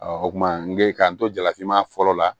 o kuma n bɛ k'an to jalafinma fɔlɔ la